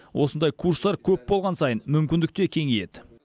осындай курстар көп болған сайын мүмкіндік те кеңейеді